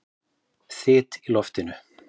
Þyt í loftinu?